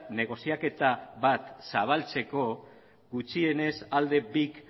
negoziaketa bat zabaltzeko gutxienez alde bik